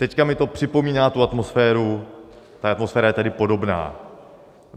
Teď mi to připomíná tu atmosféru, ta atmosféra je tedy podobná.